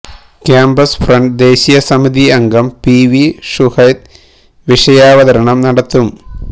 campus front ദേശീയ സമിതി അംഗം പി വി ഷുഹൈബ് വിഷയാവതരണം നടത്തും